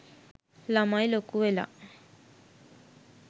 ළමයි ලොකුවෙලා